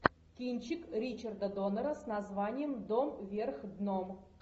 кинчик ричарда доннера с названием дом вверх дном